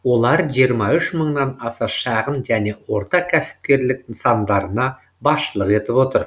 олар жиырма үш мыңнан аса шағын және ортакәсіпкерлік нысандарына басшылық етіп отыр